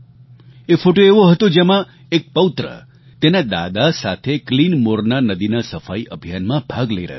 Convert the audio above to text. એ photo એવો હતો જેમાં એક પૌત્ર તેના દાદા સાથે ક્લીન મોરના નદીના સફાઈ અભિયાનમાં ભાગ લઈ રહ્યો હતો